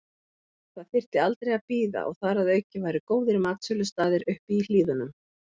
Það þyrfti aldrei að bíða og þar að auki væru góðir matsölustaðir uppi í hlíðunum.